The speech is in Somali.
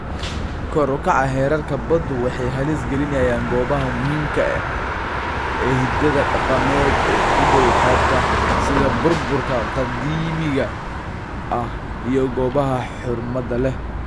Kor u kaca heerarka baddu waxay halis gelinayaan goobaha muhiimka ah ee hiddaha dhaqameed ee u dhow xeebta, sida burburka qadiimiga ah iyo goobaha xurmada leh.